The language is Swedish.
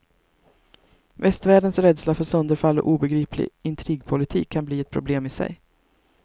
Västvärldens rädsla för sönderfall och obegriplig intrigpolitik kan bli ett problem i sig.